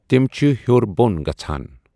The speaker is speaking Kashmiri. تِم چھُ ہیٚور بوٚن گژھان۔